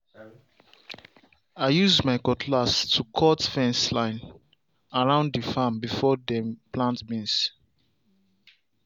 i use my cutlass to cut fence line round the farm before dem plant beans.